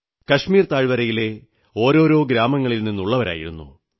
കശ്മീർ താഴ്വരെയിലെ ഓരോരോ ഗ്രാമങ്ങളിൽ നിന്നുള്ളവരായിരുന്നു